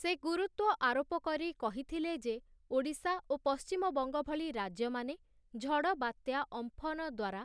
ସେ ଗୁରୁତ୍ୱ ଆରୋପ କରି କହିଥିଲେ ଯେ ଓଡ଼ିଶା ଓ ପଶ୍ଚିମବଙ୍ଗ ଭଳି ରାଜ୍ୟମାନେ ଝଡ଼ବାତ୍ୟା ଅମ୍ଫନ ଦ୍ୱାରା